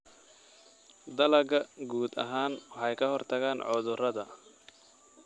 Dalagga guud ahaan waxay ka hortagaan cudurrada.